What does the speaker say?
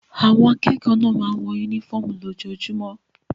Àwọn akẹ́kọ̀ọ́ náà máa ń wọ únífọ́ọ́mù lójoojúmọ́.